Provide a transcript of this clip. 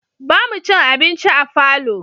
Ba mu cin abinci a falo